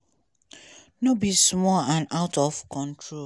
no be small and out of control."